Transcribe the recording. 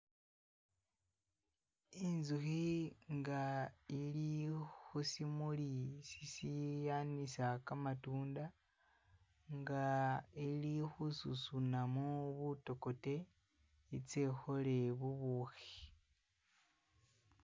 Inzukhi nga ili khusimuli sishanisa kamatunda nga ili khususunamo butokote itse ikhole bubukhi